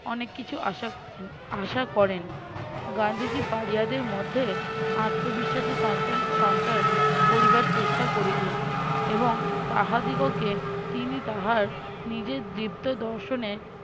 অনেক কিছু আশা করে~ন আশা করেন গান্ধী জি পাড়িয়াদের মধ্যে আত্মবিশ্বাসের সঞ্চন~ সঞ্চার করিবার চেষ্টা করিলেন এবং তাহাদিগকে তিনি তাহার নিজের দৃপ্ত দর্শনে